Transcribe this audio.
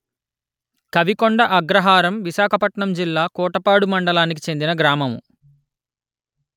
కవి కొండ అగ్రహారం విశాఖపట్నం జిల్లా కోటపాడు మండలానికి చెందిన గ్రామము